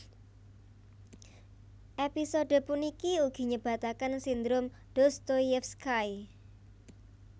Episode puniki ugi nyebataken Sindrom Dostoyevsky